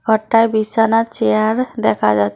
ঘরটায় বিছানা চেয়ার দেখা যাচ--